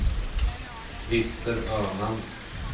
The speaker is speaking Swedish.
Christer Öman